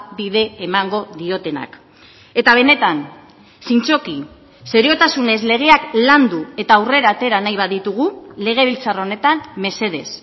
bide emango diotenak eta benetan zintzoki seriotasunez legeak landu eta aurrera atera nahi baditugu legebiltzar honetan mesedez